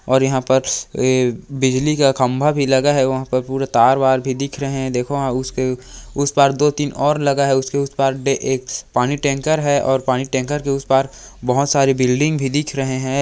--और यहाँ पर बिजली का खंबा भी लगा हुआ है वहाँ पर पूरे तार वार भी दिख रहे हैं देखो वहाँ उसके--उस पार दो-तीन और लगा हैउसके उस पार एक पानी टैंकर है और पानी का टैंकर उस पार बहोत सारी बिल्डिंग भी दिख रहे है।